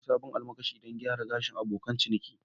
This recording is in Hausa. Na sayi sabon almakashi don gyara gashin abokan ciniki